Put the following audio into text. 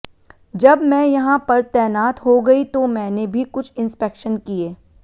जब मैं यहां पर तैनात हो गई तो मैंने भी कुछ इंस्पेक्शन किए